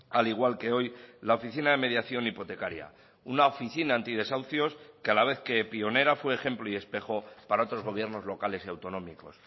al igual que hoy la oficina de mediación hipotecaria una oficina antidesahucios que a la vez que pionera fue ejemplo y espejo para otros gobiernos locales y autonómicos